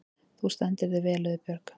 Þú stendur þig vel, Auðbjörg!